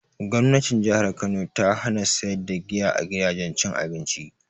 Gwamnatin jihar kano ta hana sayar da giya a gidajen cin abinci